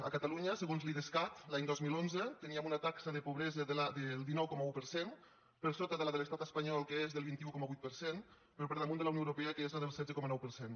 a catalunya segons l’idescat l’any dos mil onze teníem una taxa de pobresa del dinou coma un per cent per sota de la de l’estat espanyol que és del vint un coma vuit per cent però per damunt de la de la unió europea que és del setze coma nou per cent